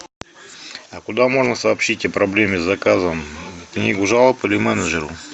а куда можно сообщить о проблеме с заказом в книгу жалоб или менеджеру